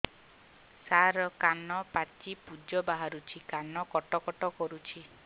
ସାର କାନ ପାଚି ପୂଜ ବାହାରୁଛି କାନ କଟ କଟ କରୁଛି